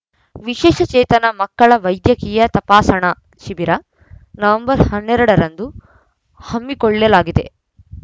ವಿಶೇಷ ಚೇತನ ಮಕ್ಕಳ ವೈದ್ಯಕೀಯ ತಪಾಸಣಾ ಶಿಬಿರ ನವೆಂಬರ್ ಹನ್ನೆರಡು ರಂದು ಹಮ್ಮಿಕೊಳ್ಳಲಾಗಿದೆ